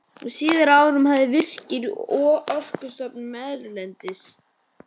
Á síðari árum hafa Virkir, Orkustofnun erlendis